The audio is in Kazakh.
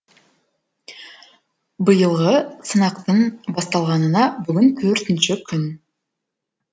биылғы сынақтың басталғанына бүгін төртінші күн